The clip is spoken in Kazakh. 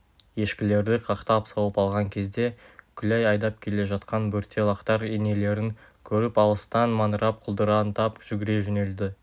ешкілерді қақтап сауып алған кезде күләй айдап келе жатқан бөрте лақтар енелерін көріп алыстан маңырап құлдыраңдап жүгіре жөнелді